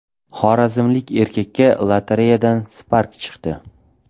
Xorazmlik erkakka lotereyadan Spark chiqdi.